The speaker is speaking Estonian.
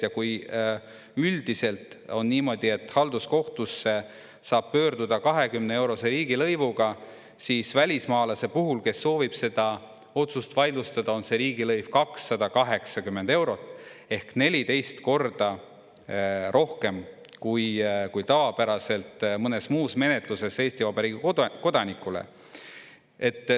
Ja kui üldiselt on niimoodi, et halduskohtusse saab pöörduda 20-eurose riigilõivuga siis välismaalase puhul, kes soovib seda otsust vaidlustada, on riigilõiv 280 eurot ehk 14 korda rohkem kui tavapäraselt mõnes muus menetluses Eesti Vabariigi kodanikule.